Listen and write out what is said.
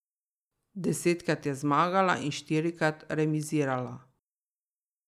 Desetkrat je zmagala in štirikrat remizirala.